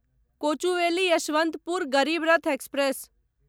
Kochuveli Yesvantpur Garib Rath express